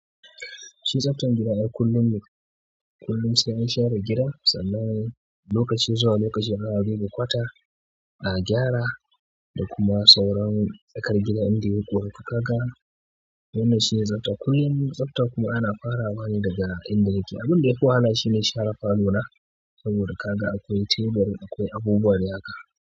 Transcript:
Shi tsaftar gida ai kullum ne kullum sai an share gida sannan lokaci zuwa lokaci za'a ɗebe kwata a gyara da kuma sauran tsakar gida inda ya yi ƙura to kaga wannan shi ne tsafta kullin tsafta kuma ana fara wane daga inda nake. Abin da ya fi wahala shi ne share falo na saboda kaga akwai teburi akwai abubuwan riga.